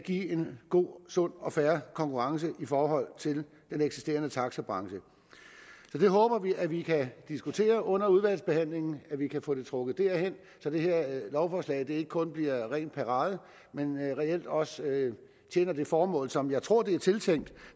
give en god sund og fair konkurrence for den eksisterende taxabranche så vi håber at vi kan diskutere det under udvalgsbehandlingen og at vi kan få trukket det derhen så det her lovforslag ikke kun bliver ren parade men reelt også tjener det formål som jeg tror det er tiltænkt